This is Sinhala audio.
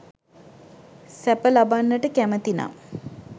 සැප ලබන්නට කැමැතිනම්